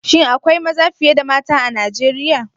Shin akwai maza fiye da mata a Nigeriya?